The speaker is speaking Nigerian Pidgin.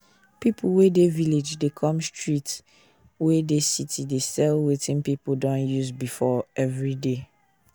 pipu wey dey village dey come street wey dey city dey sell wetin pipu don use before every day